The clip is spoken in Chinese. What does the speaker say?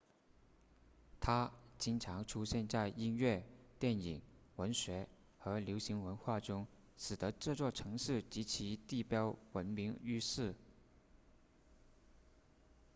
它经常出现在音乐电影文学和流行文化中使得这座城市及其地标闻名于世